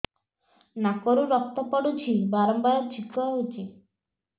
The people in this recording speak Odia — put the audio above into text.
ନାକରୁ ରକ୍ତ ପଡୁଛି ବାରମ୍ବାର ଛିଙ୍କ ହଉଚି